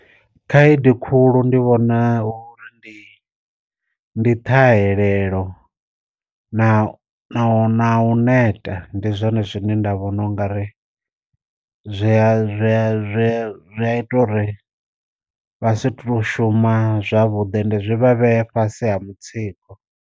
Khaedu khulu ndi vhona uri ndi ndi ṱhahelelo na na na u neta ndi zwone zwine nda vhona na u nga ri zwia zwia zwia ita uri vha si to shuma zwavhuḓi ende zwi vha vhea fhasi ha mutsiko.